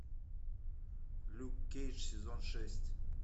люк кейдж сезон шесть